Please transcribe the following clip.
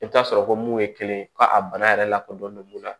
I bɛ t'a sɔrɔ ko mun ye kelen ye ko a bana yɛrɛ lakodɔnnen don mun na